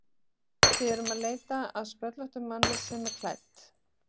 Við erum að leita að sköllóttum manni sem er klædd